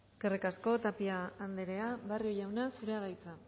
eskerrik asko tapia andrea barrio jauna zurea da hitza